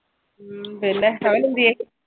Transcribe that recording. ഉം പിന്നെ അവനെന്തിയെ